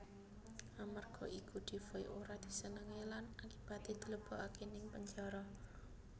Amarga iku Defoe ora disenengi lan akibaté dilebokké ning penjara